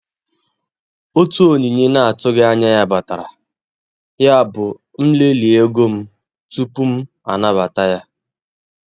Otu onyinye na-atụghị anya ya batara, yabụ m lelee ego m tupu m anabata ya.